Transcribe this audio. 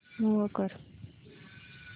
move कर